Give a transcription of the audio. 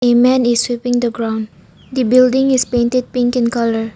A man is sweeping the ground the building is painted pink in colour.